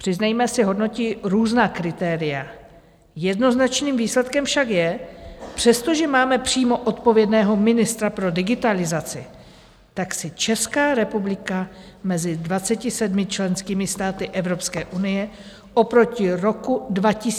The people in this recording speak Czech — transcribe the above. Přiznejme si, hodnotí různá kritéria, jednoznačným výsledkem však je, přestože máme přímo odpovědného ministra pro digitalizaci, tak si Česká republika mezi 27 členskými státy EU oproti roku 2021 pohoršila.